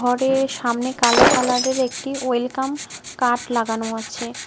ঘরের সামনে কালো কালারের একটি ওয়েলকাম কাঠ লাগানো আছে।